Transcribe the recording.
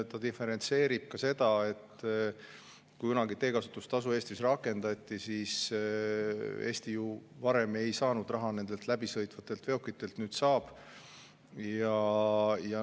See diferentseerib ka seda, et kui kunagi teekasutustasu Eestis rakendati, siis Eesti ju varem ei saanud raha läbisõitvatelt veokitelt, nüüd saab.